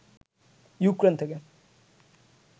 Ukraine থেকে